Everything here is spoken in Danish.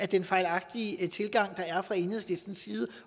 den fejlagtige tilgang der er fra enhedslistens side